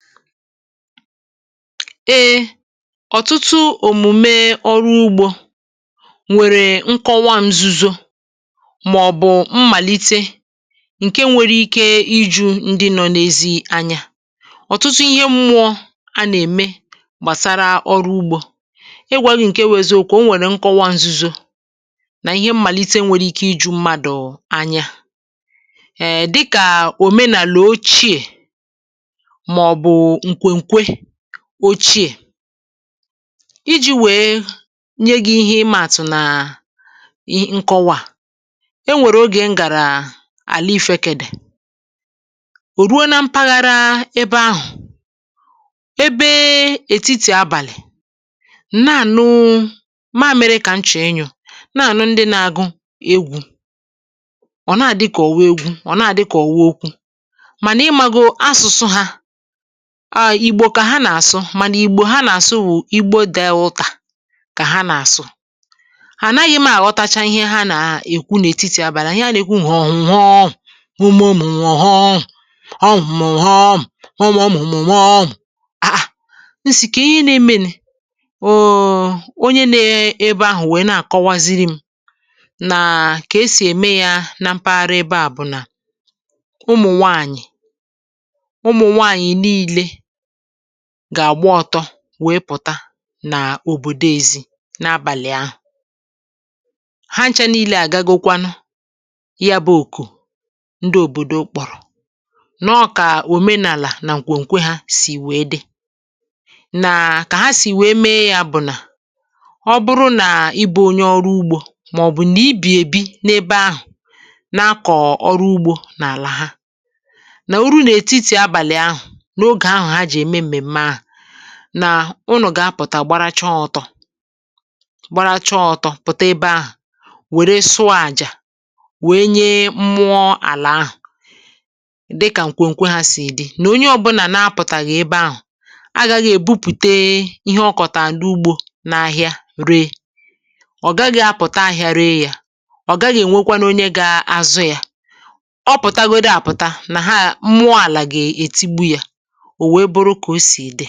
E ọ̀tụtụ òmùme ọrụ ugbȯ, nwèrè nkọwa ṅzuzo, mà ọ̀bụ̀ mmàlite ǹke nwere ike iju ndị nọ n’ezi anyȧ. ọ̀tụtụ ihe mmụọ a nà-ème gbàsara ọrụ ugbȯ, ịgwȧ gi ǹke wu eziokwu, o nwèrè nkọwa ṅzuzo, nà ihe mmàlite nwèrè ike iju mmadụ̀ anyȧ. um dịkà òmenàlà ochie ma ọbu mkwekwe òchie, iji wèe nye gị ihe imȧàtụ̀ nà i nkọwa a, enwèrè ogè m gàrà àla ifėkèdè, ò ruo na mpaghara ebe ahụ̀, ebe etiti abàlị̀ n’ànụ, mȧmịrị kà m chọ ịnyụ̀, n’ànu ndị na-agụ egwù, ọ̀ nàà dị kà ọ̀wu egwu ọ̀ nàà dị kà ọ̀wu okwu, mà nà ịmȧgo asụsụ hȧ, ma na ìgbò kà ha nà-àsụ, mànà ìgbò ha nà-àsụ wụ̀ igbo Delta kà ha nà-àsụ, anaghị m àghọtacha ihe ha nà-èkwu n'ètitì abàli ihe ha nà-èkwu họ̀họm hụmụ̀mumu họm, họmhọm hụmụmụmuhọm, ah ah m si kee ihe ị na-emenu um onye nọ ebe ahụ̀ wee na-àkọwaziri m nà kà esì ème ya na mpaghara ebe à bụ̀ nà, umụ̀ nwànyị̀, ụmụ nwanyi nile, gà-àgba ọtọ wèe pụ̀ta nà òbòdo ezi na-abàlị ahụ̀, ha nchȧ nilė àgagokwanu ya bụ̇ òkù ndị òbòdo kpọ̀rọ̀, nọọ kà òmenàlà nà nkwekwe ha sì wèe dị, nà kà ha sì wèe mee ya bụ̀ nà, ọ bụrụ nà ibu onye ọrụ ugbȯ, mà ọbụ̀ nà ibi èbi n’ebe ahụ̀ nakọ ọrụ ugbȯ n’àlà ha, nà oru nà-etiti abàlị ahụ̀, n' oge ahụ ha ji eme mmeme ahụ, nà unu gà-apụ̀tà gbara chọ ọtọ, gbara chọ ọtọ̇ pụ̀ta ebe ahụ̀ wère sụọ àjà, wee nyee mmụọ àlà ahụ̀ dị kà nkwùnkwe ha sì dị nà onye ọbụlà na-apụ̀tàghị̀ ebe ahụ̀, aghȧghị̀ èbupùte ihe ọ kọ̀tà n' ugbȯ n’ahịa ree, ọ gaghị apụ̀ta ahịa ree yȧ, ọ gaghị enwekwanu onye gȧ-azụ yȧ, ọ pụtagodu àpụta nà ha mụọ àlà gà-ètugbu yȧ. O wee buru kà o sì dị.